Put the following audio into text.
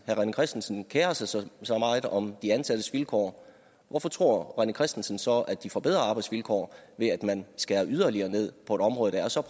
rené christensen kerer sig så så meget om de ansattes vilkår hvorfor tror herre rené christensen så at de får bedre arbejdsvilkår ved at man skærer yderligere ned på et område der er så